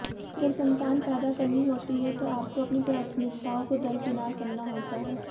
जब संतान पैदा करनी होती है तो आपको अपनी प्राथमिकताओं को दरकिनार करना होता है